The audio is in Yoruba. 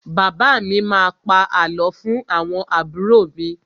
Bàbá mi má a pa àlọ́ fún àwọn àbúrò mi.